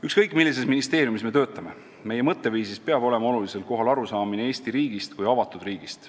Ükskõik millises ministeeriumis me ei tööta, meie mõtteviisis peab olema olulisel kohal arusaamine Eesti riigist kui avatud riigist.